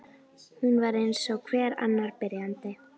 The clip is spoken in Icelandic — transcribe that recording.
Hún var eins og hver annar byrjandi.